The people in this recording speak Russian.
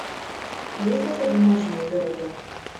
есть ли у тебя бумажные города